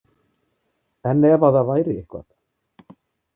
En ef að það væri eitthvað.